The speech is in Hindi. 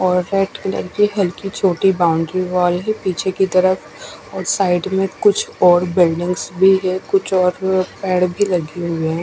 ओर वाइट कलर की हलकी छोटी बाउंड्री वाल है पीछे की तरफ और साइड में कुछ और बिल्डिंग भी है कुछ और पेड़ भी लगे हुए है।